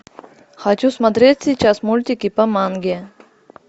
хочу смотреть сейчас мультики по манге